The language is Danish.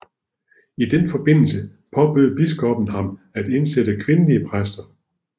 I den forbindelse påbød biskoppen ham at indsætte kvindelige præster